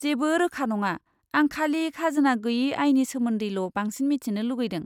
जेबो रोखा नङा, आं खालि खाजोना गैयै आयनि सोमोन्दैल' बांसिन मिथिनो लुगैदों।